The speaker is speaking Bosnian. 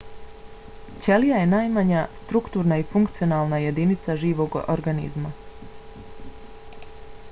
ćelija je najmanja strukturna i funkcionalna jedinica živog organizma